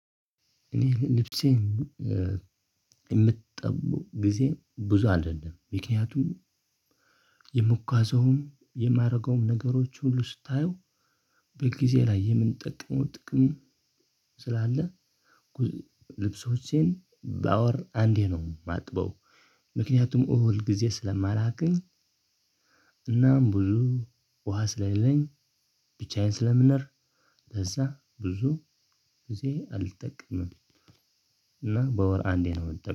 እኔ ልብሴን የምጠው ጊዜ ብዙ አደለም ምክንያቱም የምጓዘውም የማደርገውም ነገሮች ሁሉ ስታየው በጊዜ ላይ የምንጠቅመው ጥቅም ስላለ። ልብሶቼን በወር አንዴ ነው የማጥበው። ምክንያቱም እውል ጊዜ ስለማላገኝ። እናም ብዙ ውሃ ስለሌለኝ ብቻዬን ስለምኖር ለዛ ብዙ ጊዜ አልጠቀምም። እና በወር አንዴ ነው